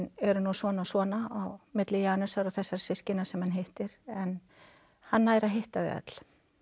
eru nú svona og svona á milli Janusar og þessara systkina sem hann hittir en hann nær að hitta þau öll